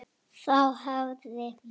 Þá hafði